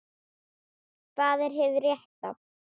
Hvað er hið rétta?